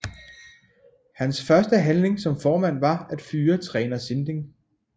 Hans første handling som formand var at fyre træner Sinding